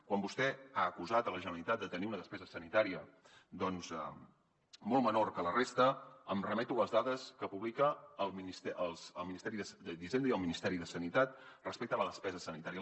quan vostè ha acusat la generalitat de tenir una despesa sanitària doncs molt menor que la resta em remeto a les dades que publica el ministeri d’hisenda i el ministeri de sanitat respecte a la despesa sanitària